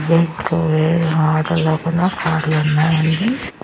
కార్లు ఉన్నాయండి.